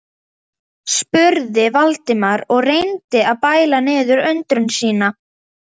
spurði Valdimar og reyndi að bæla niður undrun sína.